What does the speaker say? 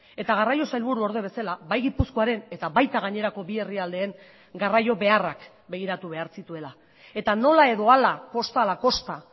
eta garraio sailburuorde bezala bai gipuzkoaren eta baita gainerako bi herrialdeen garraio beharrak begiratu behar zituela eta nola edo hala kosta ala kosta